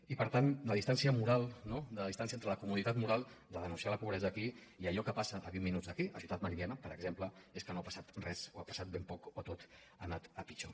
i per tant la distància moral no la distància entre la comoditat moral de denunciar la pobresa aquí i allò que passa a vint minuts d’aquí a ciutat meridiana per exemple és que no ha passat res o ha passat ben poc o tot ha anat a pitjor